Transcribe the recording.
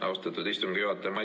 Austatud istungi juhataja!